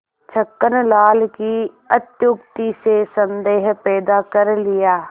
छक्कन लाल की अत्युक्ति से संदेह पैदा कर लिया